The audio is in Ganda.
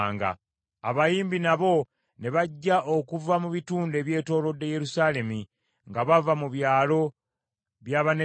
Abayimbi nabo ne bajja okuva mu bitundu ebyetoolodde Yerusaalemi, nga bava mu byalo by’Abanetofa,